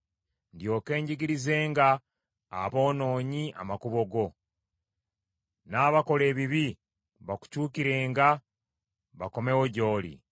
ndyoke njigirizenga aboonoonyi amakubo go, n’abakola ebibi bakukyukirenga bakomewo gy’oli.